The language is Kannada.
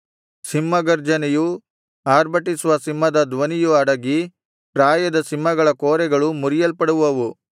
ಸಿಂಹ ಗರ್ಜನೆಯೂ ಆರ್ಭಟಿಸುವ ಸಿಂಹದ ಧ್ವನಿಯೂ ಅಡಗಿ ಪ್ರಾಯದ ಸಿಂಹಗಳ ಕೋರೆಗಳು ಮುರಿಯಲ್ಪಡುವವು